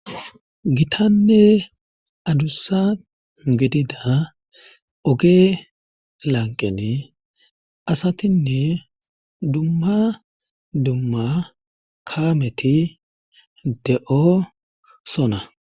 gitanne adussa gedida oge lanqeni asatinne dumma dumma kaameti de7o sona